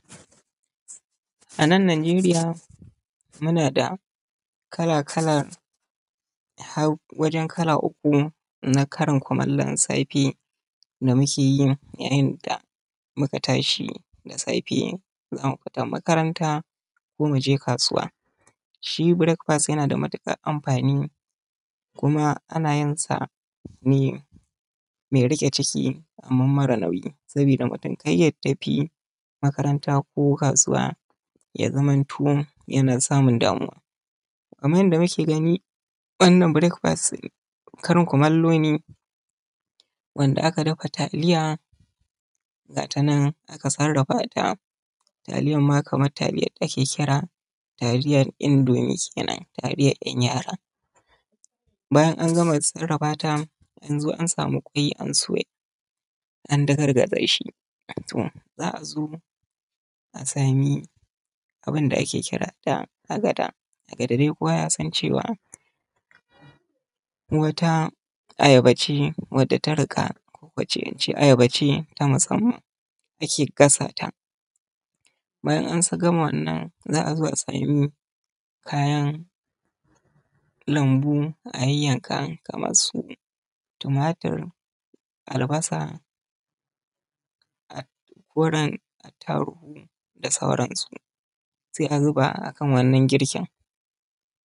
A nan Najeriya muna da kala kala har wajen kala uku na karin kurin kumallon safe da mukeyi yayin da muka tashi da safe za mu fita makaranta ko muje kasuwa. shi brek past yana da matukar amfani kuma ana yinsa ne mai rike chiki kuma marar nauyi sabida mutum kar ya tafi makaranta ko kasuwa ya zamanto yana samun damuwa. Kaman yanda muke gani, fannin brek pas karin kumallo ne wanda aka dafa taliya ga ta nan aka sarrafa ta, taliyarma kamar taliyar da ake kira taliyar indomi kenan taliyar yara bayan an gama sarrafata an zo an samu kwai an soya an dagargaza shi za azo a sami abinda ake kira da agada, agada dai kowa ya san cewa wata ayab ce wadda ta rika wacce ake ayabace ta musamman wacce ake gasata. Bayan an gama wannan za azo a saa kayan lambu a yayyanka kaman su tumatir, albasa koren attaruhu da sauransu, sai azuba akan wannan girkin